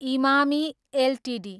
Emami Ltd